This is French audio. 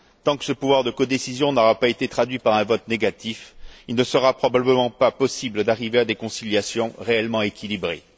Tant que ce pouvoir de codécision n'aura pas été traduit par un vote négatif, il ne sera probablement pas possible d'arriver à des conciliations réellement équilibrées.